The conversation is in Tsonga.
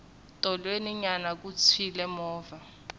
tolweni nyana ku tshwile movha